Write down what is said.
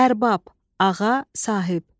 Ərbab, ağa, sahib.